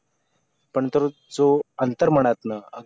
अंतर जो अंतर मनातनं